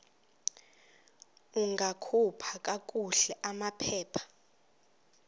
ungakhupha kakuhle amaphepha